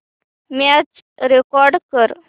match record कर